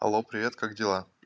алло привет как дела